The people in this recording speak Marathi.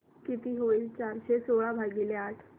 किती होईल चारशे सोळा भागीले आठ